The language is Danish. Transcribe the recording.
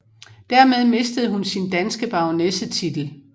Dermed mistede hun sin danske baronessetitel